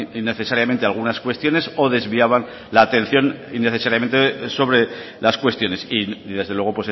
innecesariamente algunas cuestiones o desviaban la atención innecesariamente sobre las cuestiones y desde luego